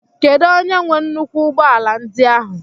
Kedu onye nwe nnukwu ụgbọ ala ndi áhu?